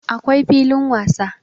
akwai filin wasa